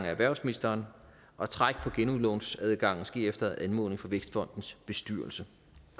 erhvervsministeren og træk på genudlånsadgangen sker efter anmodning fra vækstfondens bestyrelse